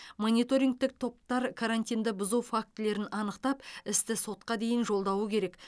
мониторингтік топтар карантинді бұзу фактілерін анықтап істі сотқа дейін жолдауы керек